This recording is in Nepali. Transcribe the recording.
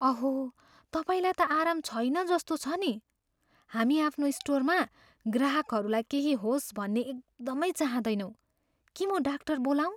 अहो, तपाईँलाई त आराम छैन जस्तो छ नि। हामी आफ्नो स्टोरमा ग्राहकहरूलाई केही होस् भन्ने एकदमै चाहँदैनौँ। के म डाक्टर बोलाऊँ?